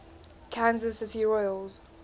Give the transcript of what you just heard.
kansas city royals